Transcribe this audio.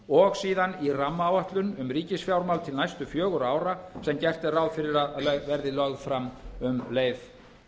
og síðan í rammaáætlun um ríkisfjármál til næstu fjögurra ára sem gert er ráð fyrir að verði lögð fram um leið